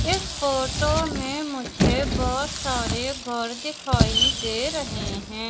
इस फोटो में मुझे बहोत सारे घर दिखाई दे रहे हैं।